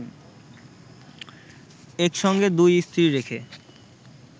একসঙ্গে দুই স্ত্রী রেখে